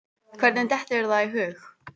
Hvernig dettur þér það í hug?